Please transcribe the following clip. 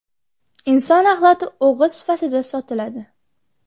Inson axlati o‘g‘it sifatida sotiladi.